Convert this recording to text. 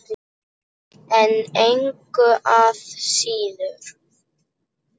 En engu að síður.